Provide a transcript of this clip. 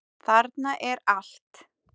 Þarna er allt.